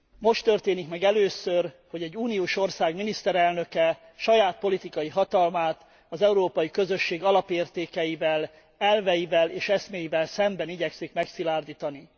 Most történik meg először, hogy egy uniós ország miniszterelnöke saját politikai hatalmát az európai közösség alapértékeivel, elveivel és eszméivel szemben igyekszik megszilárdítani.